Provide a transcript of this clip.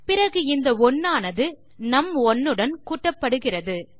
பிறகு இந்த 1ஆனது நும்1 வுடன் கூட்டப்படுகிறது